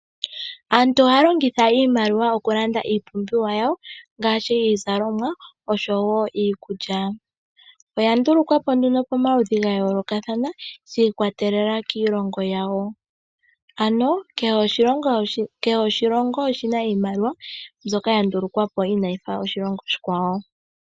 Aantu ohaya longitha iimaliwa okulanda iipumbiwa yawo ngaashi iizalomwa oshowo iikulya. Oya ndulukwa po nduno pamaludhi ga yooloka shi ikwatelela kiilongo yawo, ano kehe oshilongo oshi na iimaliwa mbyoka ya ndulukwa po inayi fa yoshilongo oshikwawo.